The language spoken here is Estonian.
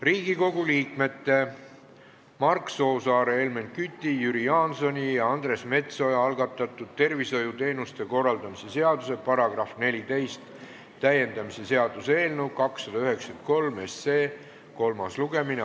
Riigikogu liikmete Mark Soosaare, Helmen Küti, Jüri Jaansoni ja Andres Metsoja algatatud tervishoiuteenuste korraldamise seaduse § 14 täiendamise seaduse eelnõu 293 kolmas lugemine.